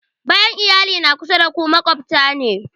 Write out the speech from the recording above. Bayan iyali, na kusa da ku maƙwabta ne